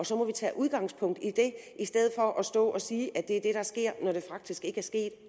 så må vi tage udgangspunkt i det i stedet for at stå og sige at det er sket når det faktisk ikke er sket